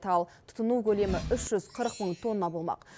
ал тұтыну көлемі үш жүз қырық мың тонна болмақ